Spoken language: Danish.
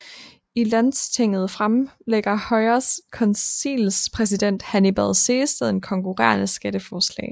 I Landstinget fremlægger Højres konseilspræsident Hannibal Sehested et konkurrerende skatteforslag